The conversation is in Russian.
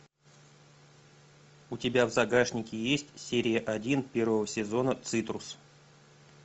у тебя в загашнике есть серия один первого сезона цитрус